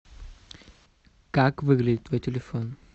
как выглядит твой телефон